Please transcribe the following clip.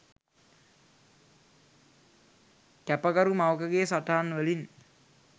කැපකරු මවකගේ සටහන් වලින්..